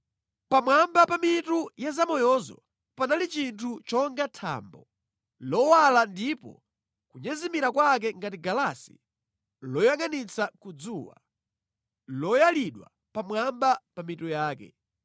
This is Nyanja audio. Pamwamba pa mitu ya zamoyozo panali chinthu chonga thambo, lowala ndipo kunyezimira kwake ngati galasi loyangʼanitsa ku dzuwa, loyalidwa pamwamba pa mitu yake.